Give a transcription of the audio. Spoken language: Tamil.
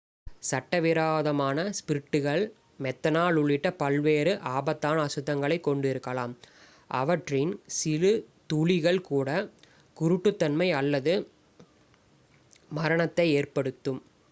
சட்டவிரோதமான ஸ்பிரிட்டுகள் மெத்தனால் உள்ளிட்ட பல்வேறு ஆபத்தான அசுத்தங்களைக் கொண்டிருக்கலாம் அவற்றின் சிறு துளிகள் கூட குருட்டுத்தன்மை அல்லது மரணத்தை ஏற்படுத்தும்